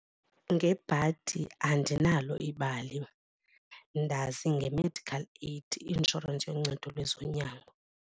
Ngebhadi andinalo ibali, ndazi nge-medical aid insurance yoncedo lwezonyango.